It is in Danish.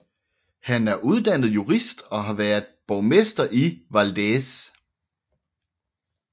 Han er uddannet jurist og har været borgmester i Valdez